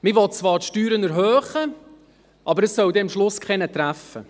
Man will zwar die Steuern erhöhen, aber es soll dann am Schluss niemanden treffen.